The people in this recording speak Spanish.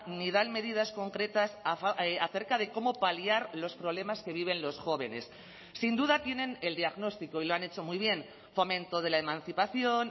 ni dan medidas concretas acerca de cómo paliar los problemas que viven los jóvenes sin duda tienen el diagnóstico y lo han hecho muy bien fomento de la emancipación